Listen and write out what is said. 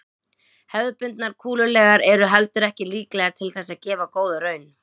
Hefðbundnar kúlulegur eru heldur ekki líklegar til þess að gefa góða raun.